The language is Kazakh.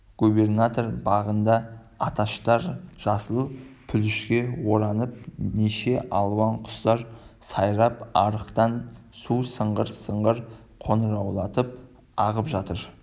губернатор бағында аташтар жасыл пүлішке оранып неше алуан құстар сайрап арықтан су сыңғыр-сыңғыр қоңыраулатып ағып жатыр